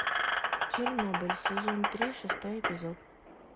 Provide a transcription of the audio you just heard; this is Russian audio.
чернобыль сезон три шестой эпизод